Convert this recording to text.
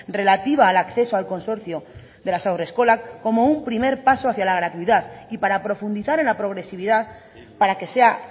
relativa al acceso al consorcio de las haurreskolak como un primer paso hacia la gratuidad y para profundizar en la progresividad para que sea